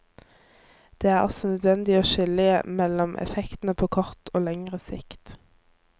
Det er også nødvendig å skille mellom effektene på kort og lengre sikt.